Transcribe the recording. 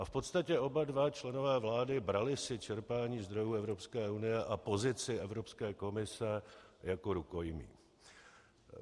A v podstatě oba dva členové vlády brali si čerpání zdrojů Evropské unie a pozici Evropské komise jako rukojmí.